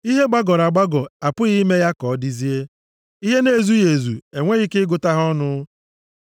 Ihe gbagọrọ agbagọ, apụghị ime ya ka ọ dizie. Ihe na-ezughị ezu, enweghị ike ịgụta ha ọnụ.